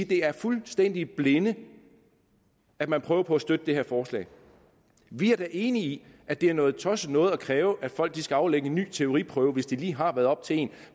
det er fuldstændig i blinde at man prøver på at støtte det her forslag vi er da enige i at det er noget tosset noget at kræve at folk skal aflægge en ny teoriprøve hvis de lige har været oppe til en